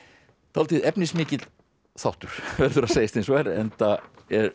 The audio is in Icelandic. dálítið efnismikill þáttur það verður að segjast eins og er enda